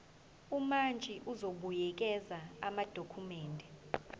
umantshi uzobuyekeza amadokhumende